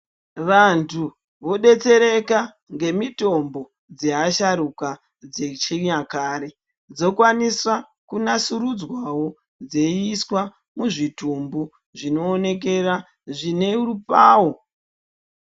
Vantu vodetsereka nemitombo dzevasharuka dzechi nyakare dzokwanisawo kusimu dzirwawo dzeyiiswa muzvitumbu zvinoonekera zvinerupawo.